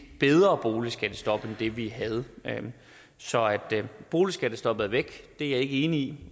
bedre boligskattestop end det vi havde så at boligskattestoppet er væk er jeg ikke enig